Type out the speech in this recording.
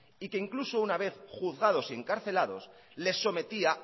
y que incluso una vez juzgados y encarcelados les sometía